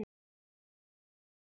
Verður hrædd.